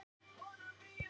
Varð mér ekki svefnsamt.